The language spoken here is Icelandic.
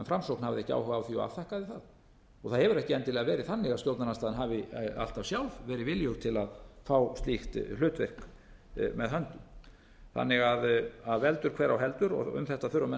en framsókn hafði ekki áhuga og afþakkaði það það hefur ekki endilega verið þannig að stjórnarandstaðan hafi alltaf sjálf verið viljug til að fá slíkt hlutverk með höndum þannig að veldur hver á heldur um þetta þurfa menn